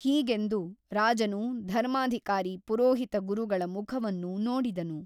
ಹೀಗೆಂದು ರಾಜನು ಧರ್ಮಾಧಿಕಾರಿ ಪುರೋಹಿತ ಗುರುಗಳ ಮುಖವನ್ನು ನೋಡಿದನು.